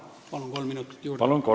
Palun kolm minutit juurde!